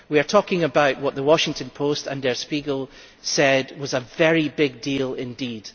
We are talking about what the Washington Post and Der Spiegel said was a very big deal indeed.